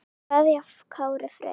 kveðja Kári Freyr.